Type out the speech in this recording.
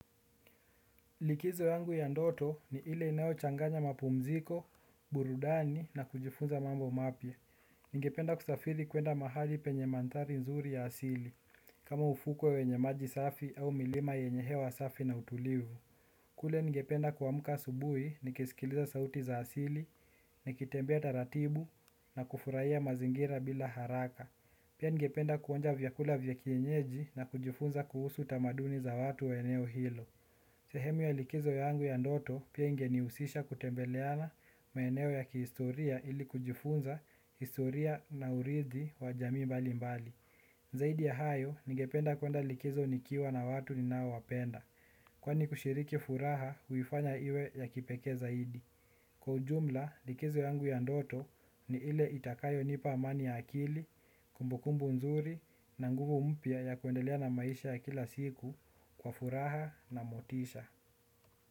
Likizo yangu ya ndoto ni ile inayochanganya mapumziko, burudani na kujifunza mambo mapya. Nigependa kusafiri kuenda mahali penye manthari nzuri ya asili, kama ufuko wenye maji safi au milima yenye hewa safi na utulivu. Kule ningependa kuamka asubuhi, nikisikiliza sauti za asili, nikitembea taratibu na kufurahia mazingira bila haraka. Pia ningependa kuonja vyakula vya kienyeji na kujifunza kuhusu tamaduni za watu wa eneo hilo. Sehemu ya likizo yangu ya ndoto pia ingehusisha kutembeleana maeneo ya kihistoria ili kujifunza historia na uridhi wa jamii mbali mbali. Zaidi ya hayo, ningependa kuande likizo nikiwa na watu ninaowapenda. Kwani kushiriki furaha huifanya iwe ya kipekee zaidi. Kwa ujumla, likizo yangu ya ndoto ni ile itakayonipa amani ya akili, kumbukumbu nzuri na nguvu mpya ya kuendelea na maisha ya kila siku kwa furaha na motisha.